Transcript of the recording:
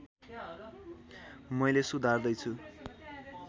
मैले सुधार्दै छु